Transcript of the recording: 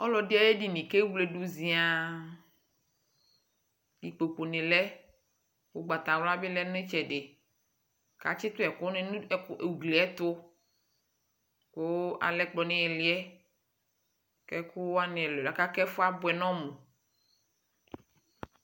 alɔdi ayu edini ku ewledu zian ikpoku ni lɛ ugbata wlua bi lɛ nu itchɛdi k'a tchi tu ɛkuni nu ugliɛ tu ku alɛ ɛku nu iɣiliɛ ku ɛkuwani aka ku ɛfua buɛ nɔ mu